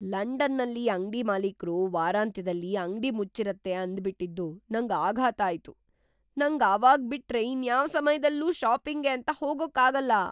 ಲಂಡನ್ನಲ್ಲಿ ಅಂಗ್ಡಿ ಮಾಲೀಕ್ರು‌ ವಾರಾಂತ್ಯದಲ್ಲಿ ಅಂಗ್ಡಿ ಮುಚ್ಚಿರತ್ತೆ ಅಂದ್ಬಿಟಿದ್ದು ನಂಗ್‌ ಆಘಾತ ಆಯ್ತು! ನಂಗ್‌ ಅವಾಗ್‌ ಬಿಟ್ರೆ ಇನ್ಯಾವ್‌ ಸಮಯ್ದಲ್ಲೂ ಷಾಪಿಂಗ್‌ಗೆ ಅಂತ ಹೋಗಕ್ಕಾಗಲ್ಲ.